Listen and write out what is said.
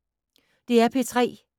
DR P3